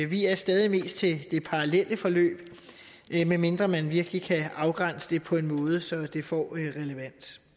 vi er stadig mest til det parallelle forløb medmindre man virkelig kan afgrænse det på en måde så det får relevans